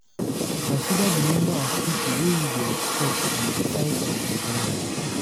Consider di number of pipo wey you dey expect and di size of di venue